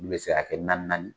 Ulu bɛ se ka kɛ naani naani.